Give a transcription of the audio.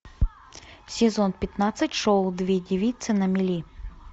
сезон пятнадцать шоу две девицы на мели